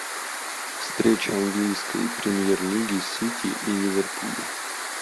встреча английской премьер лиги сити и ливерпуля